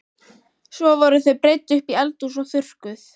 Svo voru þau breidd upp í eldhús og þurrkuð.